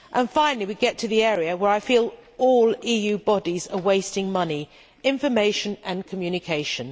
Finally, we get to the area where I feel all EU bodies are wasting money information and communication.